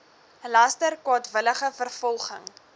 laster kwaadwillige vervolging